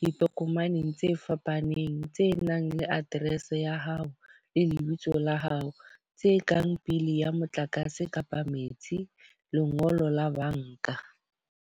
ditokomaneng tse fapaneng tse nang le address ya hao le lebitso la hao. Tse kang bill ya motlakase kapa metsi, lengolo la banka.